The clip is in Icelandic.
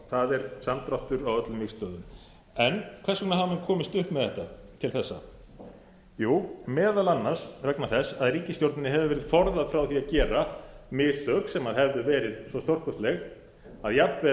það er samdráttur á öllum vígstöðvum hvers vegna hafa menn komist upp með þetta til þessa jú meðal annars vegna þess að ríkisstjórninni hefur verið forðað frá því að gera mistök sem hefðu verið svo stórkostleg að jafnvel